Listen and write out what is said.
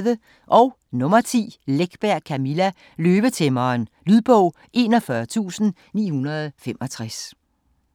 Läckberg, Camilla: Løvetæmmeren Lydbog 41965